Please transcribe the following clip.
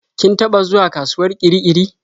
Kin taɓa zuwa kasuwar Kirikiri?